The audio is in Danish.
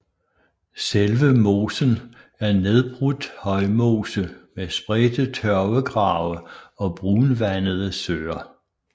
Selve mosen er nedbrudt højmose med spredte tørvegrave og brunvandede søer